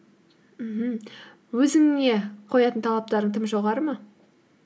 мхм өзіңе қоятын талаптарың тым жоғары ма